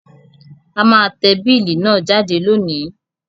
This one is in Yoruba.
A má te bill náà jáde lónìí